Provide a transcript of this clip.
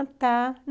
Ah, tá.